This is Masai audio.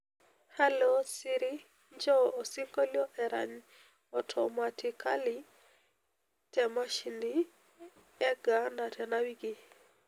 halo siri injoo osinkolio erany otomatikali te mashini e gaana tena wiki